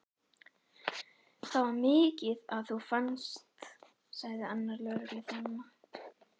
Það var mikið að þú fannst, sagði annar lögregluþjónanna.